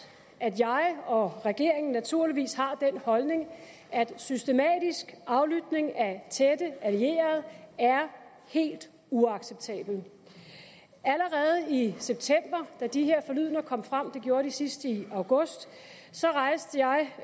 at jeg og regeringen naturligvis har den holdning at systematisk aflytning af tætte allierede er helt uacceptabel allerede i september da de her forlydender kom frem det gjorde de sidst i august rejste jeg